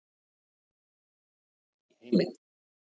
Minnsta jólakort í heimi